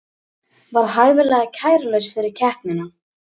Var hæfilega kærulaus fyrir keppnina